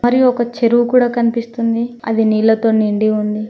మరియు ఒక చెరువు కూడా కనిపిస్తుంది అది నీళ్లతో నిండి ఉంది.